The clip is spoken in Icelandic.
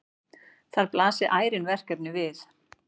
Þar blasi ærin verkefni við.